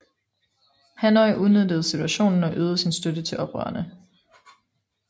Hanoi udnyttede situationen og øgede sin støtte til oprørerne